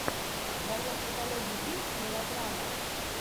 в твоем каталоге есть мелодрама